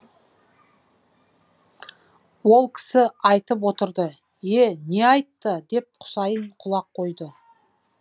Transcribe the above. ол кісі айтып отырды е не айтты деп құсайын құлақ қойды